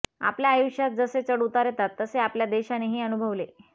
आपल्या आयुष्यात जसे चढउतार येतात तसे आपल्या देशानेही अनुभवले